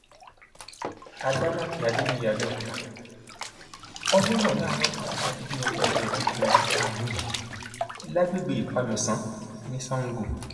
àdèmàkè adébíyí abẹọkúta ọdẹ rọ láàárọ kùtù sátidé ọjọ kẹẹẹdógún oṣù karùnún yìí lágbègbè ipamẹsàn ní sango